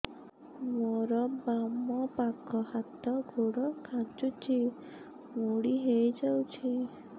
ମୋର ବାମ ପାଖ ହାତ ଗୋଡ ଖାଁଚୁଛି ମୁଡି ହେଇ ଯାଉଛି